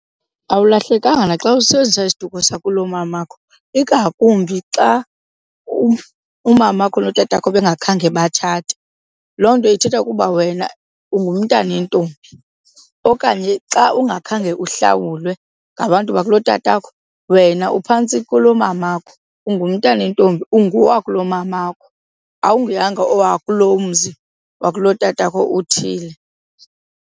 Awulahlekanga naxa usebenzisa isiduko sakulo mamakho, ingakumbi xa umamakho notatakho bengakhange batshate. Loo nto ithetha ukuba wena ungumntana wentombi okanye xa ungakhange uhlawulwe ngabantu bakulotatakho wena uphantsi kulomamakho, ungumntanentombi. Ungowakulomamakho, awunguyanga owakuloo mzi wakulotatakho uthile.